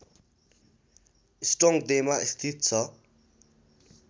स्टोङ्गदेमा स्थित छ